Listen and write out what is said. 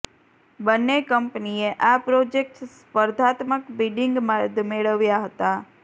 બંને કંપનીએ આ પ્રોજેક્ટ્સ સ્પર્ધાત્મક બિડિંગ બાદ મેળવ્યા હતા